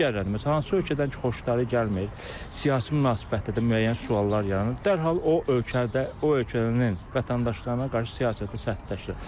Digərlərindən məsələn hansı ölkədən ki xoşları gəlmir, siyasi münasibətlərdə də müəyyən suallar yaranır, dərhal o ölkədə o ölkənin vətəndaşlarına qarşı siyasətini sərtləşdirir.